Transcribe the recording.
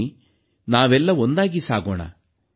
ಬನ್ನಿ ನಾವೆಲ್ಲ ಒಂದಾಗಿ ಸಾಗೋಣ